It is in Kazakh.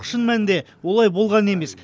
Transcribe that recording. шын мәнінде олай болған емес